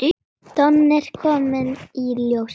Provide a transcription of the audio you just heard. Birta Líf er börnuð.